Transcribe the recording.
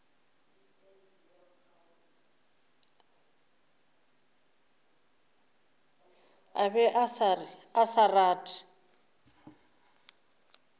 a be a sa rate